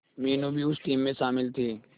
मीनू भी उस टीम में शामिल थी